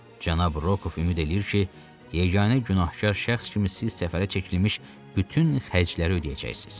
Cənab Rokov ümid eləyir ki, yeganə günahkar şəxs kimi siz səfərə çəkilmiş bütün xərcləri ödəyəcəksiniz.